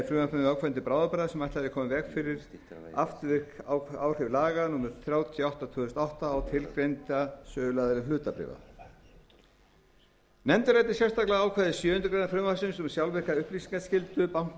frumvarpinu ákvæði til bráðabirgða sem ætlað er að koma í veg fyrir afturvirk áhrif laga númer þrjátíu og átta tvö þúsund og átta á tilgreinda söluaðila hlutabréfa nefndin ræddi sérstaklega ákvæði sjöundu greinar frumvarpsins um sjálfvirka upplýsingaskyldu banka